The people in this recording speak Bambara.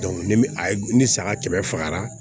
ni a ye ni saga kɛmɛ fagara